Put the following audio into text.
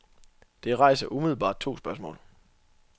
Det rejser umiddelbart to spørgsmål.